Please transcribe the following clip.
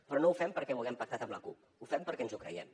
però no ho fem perquè ho haguem pactat amb la cup ho fem perquè ens ho creiem